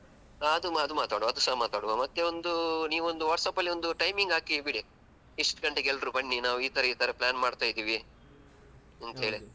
ಹ ಅದು ಅದು ಮಾತನಾಡುವ ಅದುಸ ಮಾತನಾಡುವ ಮತ್ತೆ ಒಂದೂ ನೀವು ಒಂದು WhatsApp ಅಲ್ಲಿ ಒಂದು timing ಹಾಕಿ ಬಿಡಿ ಇಷ್ಟು ಗಂಟೆಗೆ ಎಲ್ರು ಬನ್ನಿ ನಾವು ಇತರ ಇತರ plan ಮಾಡ್ತಾಯಿದ್ದೀವಿ ಅಂತ ಹೇಳಿ.